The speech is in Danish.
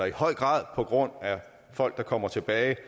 i høj grad på grund af folk der kommer tilbage